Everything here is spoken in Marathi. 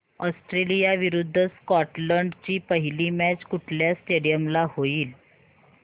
ऑस्ट्रेलिया विरुद्ध स्कॉटलंड ची पहिली मॅच कुठल्या स्टेडीयम ला होईल